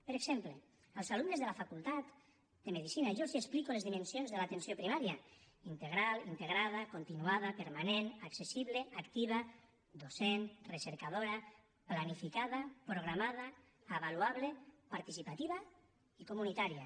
per exemple als alumnes de la facultat de medicina jo els explico les dimensions de l’atenció primària integral integra da continuada permanent accessible activa docent recercadora planificada programada avaluable participativa i comunitària